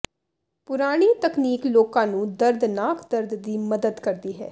ਪੁਰਾਣੀ ਤਕਨੀਕ ਲੋਕਾਂ ਨੂੰ ਦਰਦਨਾਕ ਦਰਦ ਦੀ ਮਦਦ ਕਰਦੀ ਹੈ